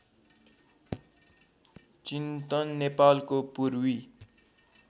चिन्तन नेपालको पूर्वी